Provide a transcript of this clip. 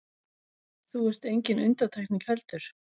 Þú ert engin undantekning heldur.